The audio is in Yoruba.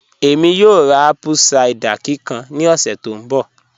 Ẹ̀mí yóò rá apple cider kíkàn ní ọ̀ṣẹ̀ tó nbọ̀